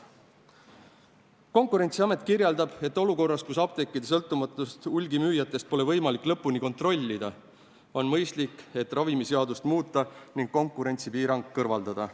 " Konkurentsiamet kirjeldab, et olukorras, kus apteekide sõltumatust hulgimüüjatest pole võimalik lõpuni kontrollida, on mõistlik ravimiseadust muuta ning konkurentsipiirang kõrvaldada.